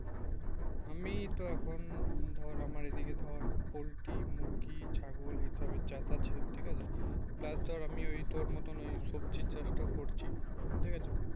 আমি তো এখন ধর আমার এদিকে ধর পল্টি মুরগি ছাগল এসব এর চাষ আছে ঠিক আছে তারপর আমি ওই তোর মতন ওই সবজি চাষ টা করছি ঠিক আছে